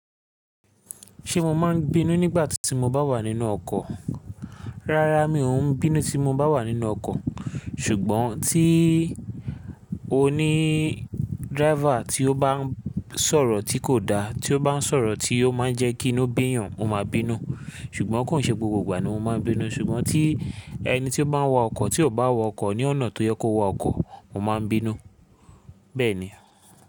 Ṣé mo máa ń bínú nígbà tí mo bá wà nínú ọkọ̀? Rárá mi ò ń bínú tí mo bá wà nínú ọkọ̀. Ṣùgbọ́n tí ó ní driver tí ó bá ń sọ̀rọ̀ tí kò da, tí ó bá ń sọ̀rọ̀ tí ó máa ń jẹ́ kí inú bíyàn, mo máa bínú. Ṣùgbọ́n kò ń ṣe gbogbo ìgbà ni mo máa ń bínú. Ṣùgbọ́n tí ẹni tí ó bá ń wa ọkọ̀ tí ò bá wọ ọkọ̀ ní ọ̀nà tó yẹ kó wa ọkọ̀, mo máa ń bínú. Bẹ́ẹ̀ ni.